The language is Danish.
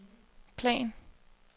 plan